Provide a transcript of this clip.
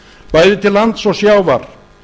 bæði til lands og sjávar